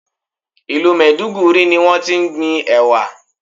Ìlú Maiduguri ni wón ti ń gbin Ẹ̀wà.